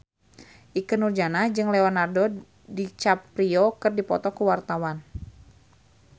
Ikke Nurjanah jeung Leonardo DiCaprio keur dipoto ku wartawan